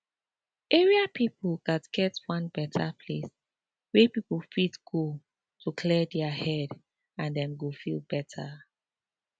area people gats get one better place wey people fit go to clear their head and dem go feel better